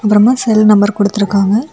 அப்பறமா cell number கொடுத்து இருக்காங்க.